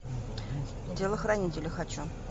телохранителя хочу